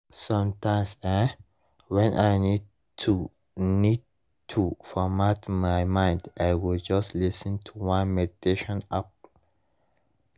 sometimes[um]when i need to need to format my mind i go just lis ten to one meditation app